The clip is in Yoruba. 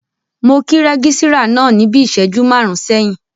Mo kí rẹ́gísírà náà níbi ìṣẹ́jú máàrún sẹ́yìn